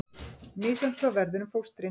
Misjafnt hvað verður um fóstrin